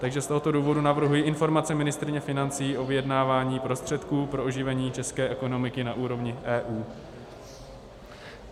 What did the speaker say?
Takže z tohoto důvodu navrhuji Informaci ministryně financí o vyjednávání prostředků pro oživení české ekonomiky na úrovni EU.